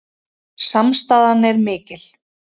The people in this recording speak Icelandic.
Samstaðan er mikil